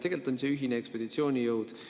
Tegelikult on see ühine ekspeditsioonijõud.